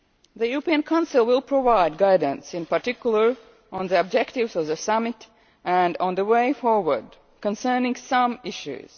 The European Council will provide guidance in particular on the objectives of the Summit and on the way forward concerning some issues.